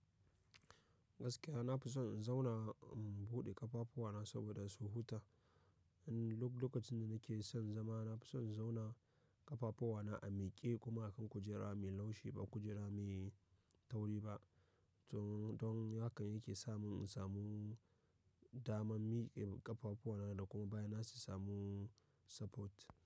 Gaskiya na fi son in zauna in buɗe ƙafafuwa na saboda su huta. In duk lokacin da nake son zama, na fi son in zauna ƙafafuwa na a miƙe kuma akan kujera mai laushi ba kujera mai tauri ba. Don haka yake sa mun in samu daman miƙe ƙafafuwa na da kuma baya na su samun support.